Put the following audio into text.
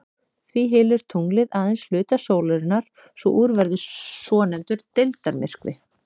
Því hylur tunglið aðeins hluta sólarinnar svo úr verður svonefndur deildarmyrkvi.